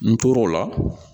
N tor'o la